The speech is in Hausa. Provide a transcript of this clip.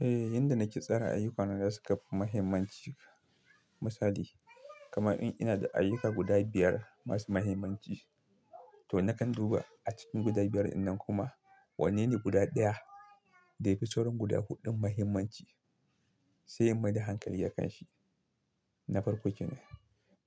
Eh, yanda nake tsara ayyukana da suka fi mahimmanci. Misali, kamar in ina da ayyuka guda biyar masu mahimmanci to nakan duba a cikin guda biyar dinnan kuma wanne ne guda ɗaya da yafi sauran guda huɗun mahimmanci sai inmaida hankali akan shi. Na farko kenan,